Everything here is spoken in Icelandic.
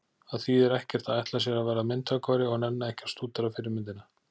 Það þýðir ekkert að ætla sér að verða myndhöggvari og nenna ekki að stúdera fyrirmyndina.